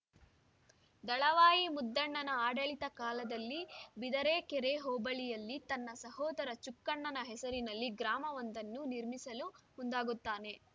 ದಳವಾಯಿ ಮುದ್ದಣ್ಣನ ಆಡಳಿತ ಕಾಲದಲ್ಲಿ ಬಿದರಕೆರೆ ಹೋಬಳಿಯಲ್ಲಿ ತನ್ನ ಸಹೋದರ ಚುಕ್ಕಣ್ಣನ ಹೆಸರಿನಲ್ಲಿ ಗ್ರಾಮವೊಂದನ್ನು ನಿರ್ಮಿಸಲು ಮುಂದಾಗುತ್ತಾನೆ